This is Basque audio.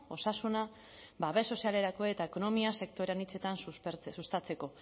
osasuna babes sozialerako eta ekonomia sektore anitzetan sustatzeko